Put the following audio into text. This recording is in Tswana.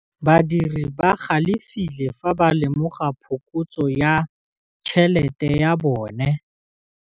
Badiri ba galefile fa ba lemoga phokotsô ya tšhelête ya bone.